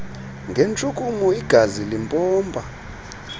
ngentshukumo igazi limpompa